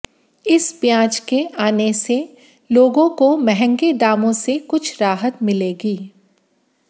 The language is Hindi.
इस प्याज के आने से से लोगों महंगे दामों से कुछ राहत मिलेगी